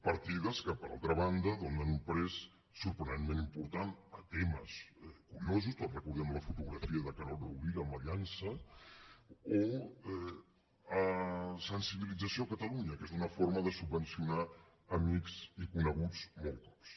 partides que per altra banda donen un pes sorprenentment important a temes curiosos tots recordem la fotografia de carod rovira amb la llança o a sensibilització a catalunya que és una forma de subvencionar amics i coneguts molts cops